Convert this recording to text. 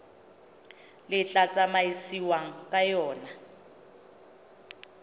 le tla tsamaisiwang ka yona